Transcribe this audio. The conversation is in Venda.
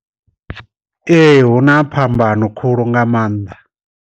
Ee hu na phambano khulu nga maanḓa.